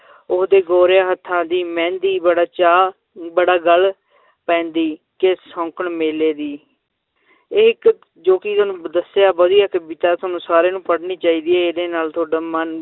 ਓਹਦੇ ਗੋਰਿਆਂ ਹੱਥਾਂ ਦੀ ਮਹਿੰਦੀ ਬੜਾ ਚਾਅ ਬੜਾ ਗੱਲ ਪੈਂਦੀ ਕਿ ਸ਼ੌਂਕਣ ਮੇਲੇ ਦੀ ਇਹ ਇੱਕ ਜੋ ਕਿ ਤੁਹਾਨੂੰ ਦੱਸਿਆ ਵਧੀਆ ਕਵਿਤਾ ਤੁਹਾਨੂੰ ਸਾਰਿਆਂ ਨੂੰ ਪੜ੍ਹਨੀ ਚਾਹੀਦੀ ਹੈ ਇਹਦੇ ਨਾਲ ਤੁਹਾਡਾ ਮਨ